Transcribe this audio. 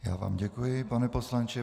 Já vám děkuji, pane poslanče.